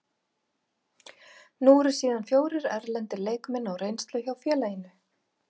Nú eru síðan fjórir erlendir leikmenn á reynslu hjá félaginu.